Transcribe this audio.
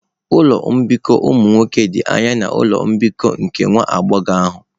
Ụlọ mbikọ ụmụ nwoke dị anya na ụlọ mbikọ nke nwa agbọghọ ahụ.